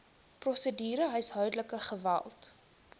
prosedure huishoudelike geweld